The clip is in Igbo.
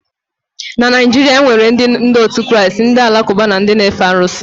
Na Naịjirịa enwere ndị òtù Kraịst, ndị alakụba na ndị n'efe arụsị.